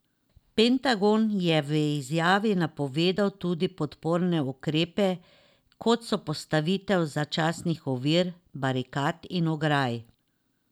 Pentagon je v izjavi napovedal tudi podporne ukrepe, kot so postavitve začasnih ovir, barikad in ograj.